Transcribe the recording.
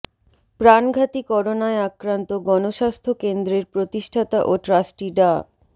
প্রাণঘাতী করোনায় আক্রান্ত গণস্বাস্থ্য কেন্দ্রের প্রতিষ্ঠাতা ও ট্রাস্টি ডা